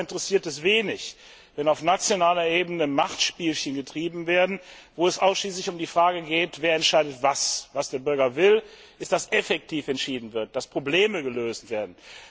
Den Bürger interessiert es wenig, wenn auf nationaler Ebene Machtspielchen getrieben werden, wo es ausschließlich um die Frage geht, wer was entscheidet. Was der Bürger will, ist, dass effektiv entschieden wird, dass Probleme gelöst werden.